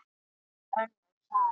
Það er önnur saga.